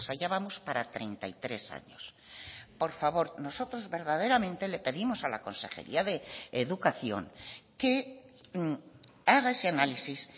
ya vamos para treinta y tres años por favor nosotros verdaderamente le pedimos a la consejería de educación que haga ese análisis